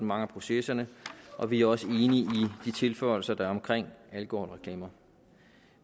mange af processerne og vi er også enige i de tilføjelser der er om alkoholreklamer